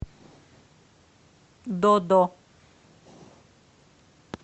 до до